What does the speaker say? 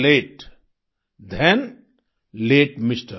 लते थान लते एमआर